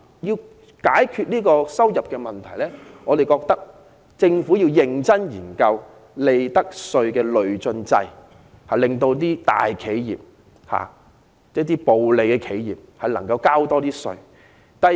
要解決收入不穩的問題，我們認為政府應認真研究引入利得稅累進制，令賺取暴利的大企業多繳稅款。